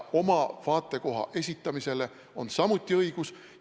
Oma vaatekoha esitamisele on meil samuti õigus.